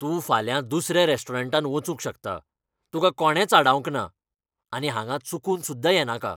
तूं फाल्यां दुसऱ्या रॅस्टोरंटांत वचूंक शकता, तुका कोणेंच आडावंक ना. आनी हांगा चुकून सुद्दा येनाका